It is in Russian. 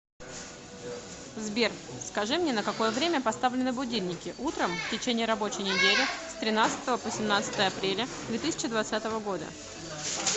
сбер скажи мне на какое время поставлены будильники утром в течение рабочей недели с тринадцатого по семнадцатое апреля две тысячи двадцатого года